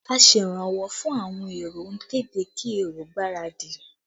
Aseranwọ́ fún àwọn èrò ń kéde kí èrò gbáradì